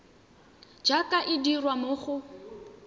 jaaka e dirwa mo go